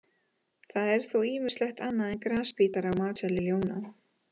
Það er þó ýmislegt annað en grasbítar á matseðli ljóna.